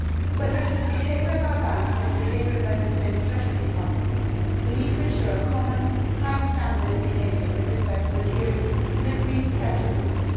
Whether it is the behaviour of our banks or the behaviour of Member States' treasury departments, we need to ensure a common high standard of behaviour with respect to adhering to an agreed set of rules.